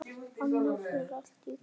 Annars er allt í góðu.